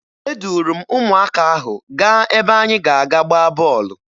Eduru m ụmụaka ahụ gaa ebe anyị ga-aga gbaa bọọlụ